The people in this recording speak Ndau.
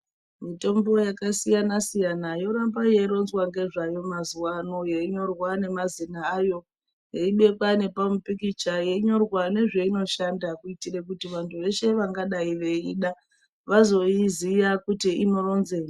Mitombo yakasiyana siyana yoramba yeironzwa ngezvayo mazuva ano yeinyorwa nemazita ayo yeibekwa ngepamupikicha yeinyorwa ngezveinoshanda kuitire kuti vanhu veshe vangadai veida vazoiziya kuti inoronzei .